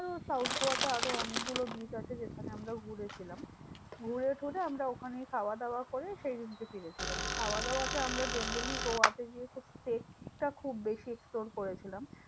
তো south গোয়াতে আরও অনেকগুলো beach আছে যেখানে আমরাও ঘুরেছিলাম। ঘুরে টুরে আমরা ওখানেই খাওয়া দাওয়া করে সেইদিনকে ফিরেছিলাম। খাওয়াদাওয়াতে আমরা generally গোয়াতে গিয়ে খুব test টা খুব বেশি explore করেছিলাম।